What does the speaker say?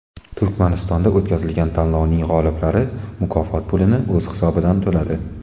Turkmanistonda o‘tkazilgan tanlovning g‘oliblari mukofot pulini o‘z hisobidan to‘ladi.